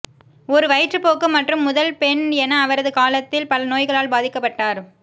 ஒரு வயிற்றுப்போக்கு மற்றும் முதல் பெண் என அவரது காலத்தில் பல நோய்களால் பாதிக்கப்பட்டார்